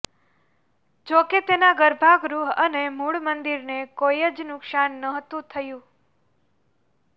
જો કે તેના ગર્ભગૃહ અને મૂળ મંદીરને કોઈ જ નુકસાન નહોતું થયું